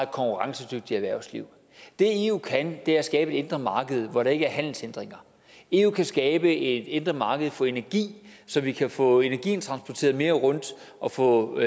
konkurrencedygtigt erhvervsliv det eu kan er at skabe et indre marked hvor der ikke er handelshindringer eu kan skabe et indre marked for energi så vi kan få energien transporteret mere rundt og få